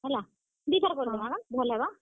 ହେଲା, ଦୁଈ ଥର୍ କରିଦେମା ଗା, ଭଲ୍ ହେବା।